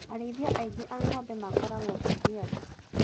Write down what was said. Arĩithia aingĩ a ng'ombe makoragwo Kajiado.